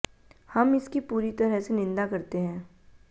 हम इसकी पूरी तरह से निंदा करते हैं